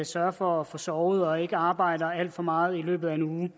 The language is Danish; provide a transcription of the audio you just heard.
sørger for at få sovet og ikke arbejder alt for meget i løbet af en uge